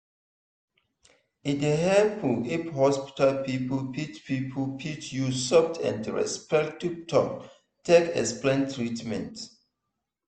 e dey helpful if hospital people fit people fit use soft and respectful talk take explain treatment.